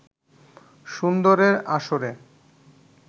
সুন্দরের আসরে